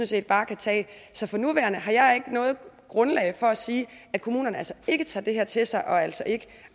set bare kan tage så for nuværende har jeg ikke noget grundlag for at sige at kommunerne ikke tager det her til sig og altså ikke